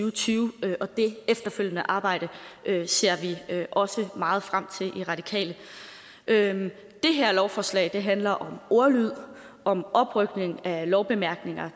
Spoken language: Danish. og tyve og dét efterfølgende arbejde ser vi også meget frem til i radikale det her lovforslag handler om ordlyd om oprykning af lovbemærkninger